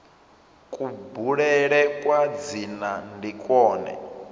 kubulele kwa dzina ndi kwone